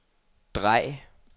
drej